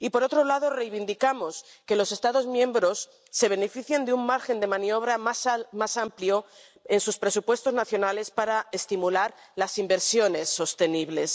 Y, por otro lado, reivindicamos que los Estados miembros se beneficien de un margen de maniobra más amplio en sus presupuestos nacionales para estimular las inversiones sostenibles.